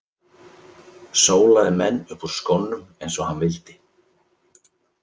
Sólaði menn upp úr skónum eins og hann vildi.